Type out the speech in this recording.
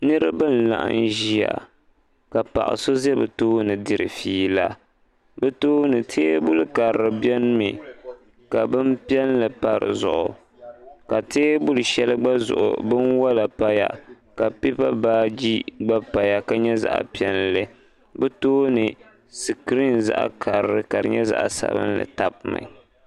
niriba n-laɣim ʒiya ka paɣ' so za bɛ tooni n-diri fiila bɛ tooni teebuli karili beni mi ka bin' piɛlli pa di zuɣu ka teebuli shɛli gba zuɣu binwɔla paya ka pipa baaji gba paya ka nyɛ zaɣ' piɛlli bɛ tooni sikirim zaɣ' karili ka di nyɛ zaɣ' sabinli tabi mi.